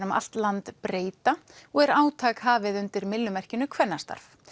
um allt land breyta og er átak hafið undir myllumerkinu kvennastarf